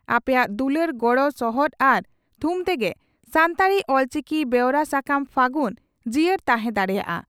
ᱟᱯᱮᱭᱟᱜ ᱫᱩᱞᱟᱹᱲ ᱜᱚᱲᱚ ᱥᱚᱦᱚᱫ ᱟᱨ ᱛᱷᱩᱢ ᱛᱮᱜᱮ ᱥᱟᱱᱛᱟᱲᱤ (ᱚᱞᱪᱤᱠᱤ) ᱵᱮᱣᱨᱟ ᱥᱟᱠᱟᱢ 'ᱯᱷᱟᱹᱜᱩᱱ' ᱡᱤᱭᱟᱹᱲ ᱛᱟᱦᱮᱸ ᱫᱟᱲᱮᱭᱟᱜᱼᱟ ᱾